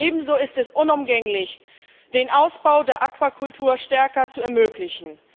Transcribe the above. Ebenso ist es unumgänglich, den Ausbau der Aquakultur verstärkt zu ermöglichen.